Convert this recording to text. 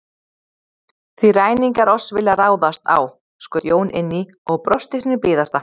Því ræningjar oss vilja ráðast á, skaut Jón inn í og brosti sínu blíðasta.